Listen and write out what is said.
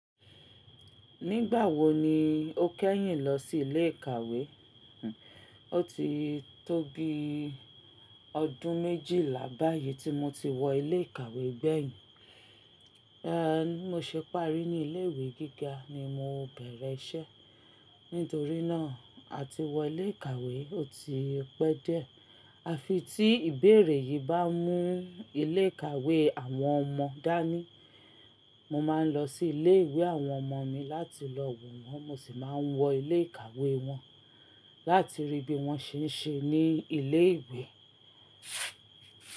Nígbà wo ni o kẹ́yìn lọ sí ilé ìkàwé? O ti tó bi ọdún méjìlá báyìí tí mo ti wọ ilé ìkàwé gbẹ̀yìn. Er, bí mo ṣe páàrí ní ilé ìwé gíga ni mo bẹ̀rẹ̀ iṣẹ́. Nítorí náà, à ti wọ ilé ìkàwé ó ti pẹ́ jdiẹ. A fi tí ìbéèrè yìí bá mú ilé ìkàwé àwọn ọmọ dání, mo máa ń lọ sí ilé ìwé àwọn ọmọ mi láti lọ wọ̀n wọ́n. Mo sì máa ń wọ ilé ìkàwé wọn láti rí bí wọ́n ṣe ń ṣe ní ilé ìwé.